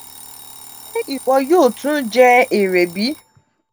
ṣe iwọ yoo tun je ere bi?